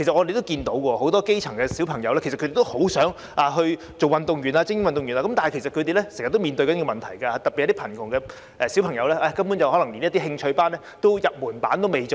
不少基層小朋友都很想成為精英運動員，但卻經常面對一些問題，特別是貧窮家庭的小朋友，就是他們根本連入門級的興趣班也無法參與。